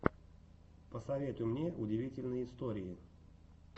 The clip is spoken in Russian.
посоветуй мне удивительные истории